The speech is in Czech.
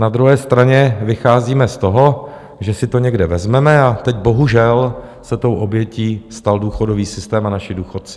Na druhé straně vycházíme z toho, že si to někde vezmeme, a teď bohužel se tou obětí stal důchodový systém a naši důchodci.